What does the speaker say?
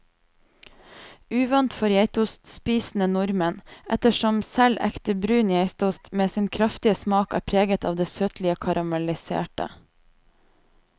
Uvant for geitostspisende nordmenn, ettersom selv ekte brun geitost med sin kraftige smak er preget av det søtlige karamelliserte.